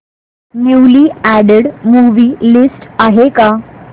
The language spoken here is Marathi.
न्यूली अॅडेड मूवी लिस्ट आहे का